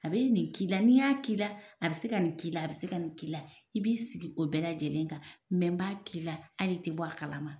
A bɛ nin de k'i la n'i n y'a k'i la a bɛ se ka nin k'i la a bɛ se ka nin k'i la i b'i sigi o bɛɛ lajɛlen kan n b'a k'i la ali tɛ bɔ a kalama.